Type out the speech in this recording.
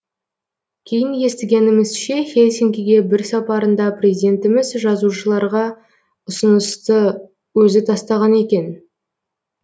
кейін естігенімізше хельсинкиге бір сапарында президентіміз жазушыларға ұсынысты өзі тастаған екен